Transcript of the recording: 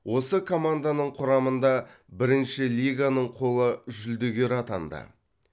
осы команданың құрамында бірінші лиганың қола жүлдегері атанды